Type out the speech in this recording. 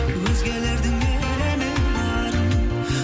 өзгелердің елеме барын